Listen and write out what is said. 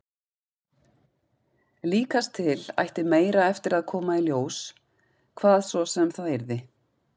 Líkast til ætti meira eftir að koma í ljós, hvað svo sem það yrði.